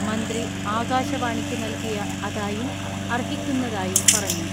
മന്ത്രി ആകാശവാണിക്ക് നൽകിയ അതായും അർഹിക്കുന്നതായും പറഞ്ഞു.